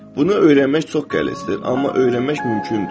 Bunu öyrənmək çox qəlizdir, amma öyrənmək mümkündür.